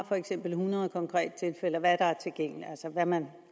for eksempel har hundrede konkrete tilfælde hvad der er tilgængeligt altså hvad man